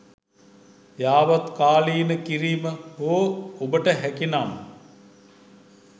යාවත්කාලින කිරීම හෝ ඔබට හැකිනම්